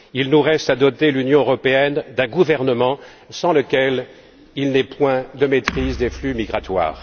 Il nous reste à doter l'Union européenne d'un gouvernement, sans lequel il n'est point de maîtrise des flux migratoires.